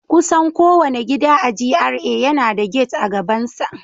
Kusan kowane gida a GRA yana da gate a gabansa